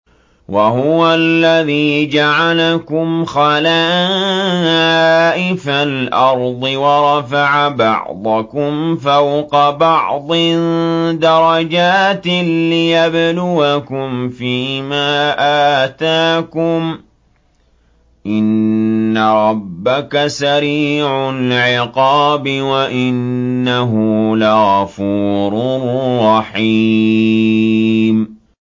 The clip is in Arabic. وَهُوَ الَّذِي جَعَلَكُمْ خَلَائِفَ الْأَرْضِ وَرَفَعَ بَعْضَكُمْ فَوْقَ بَعْضٍ دَرَجَاتٍ لِّيَبْلُوَكُمْ فِي مَا آتَاكُمْ ۗ إِنَّ رَبَّكَ سَرِيعُ الْعِقَابِ وَإِنَّهُ لَغَفُورٌ رَّحِيمٌ